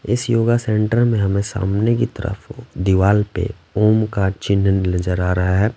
इस yoga centre में हमें सामने की तरफ दीवाल पे ओम का चिन्ह नजर आ रहा हैं ।